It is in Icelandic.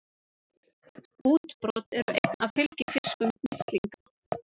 Útbrot eru einn af fylgifiskum mislinga.